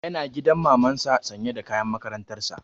Yana gidan maman sa sanye da kayan makarantar sa